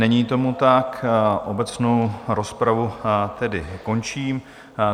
Není tomu tak, obecnou rozpravu tedy končím.